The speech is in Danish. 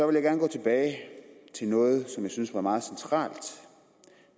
vil gerne gå tilbage til noget som jeg synes var meget centralt